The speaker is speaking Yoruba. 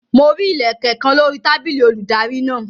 Mo rí Ilẹ̀kẹ̀ kan lórí tábìlì olùdarí náà.